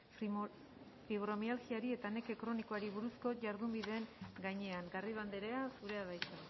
fibromialgiari eta neke kronikoari buruzko jardunbideen gainean garrido anderea zurea da hitza